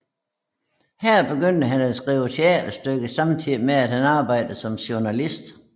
Her begyndte han at skrive teaterstykker samtidigt med han arbejdede som journalist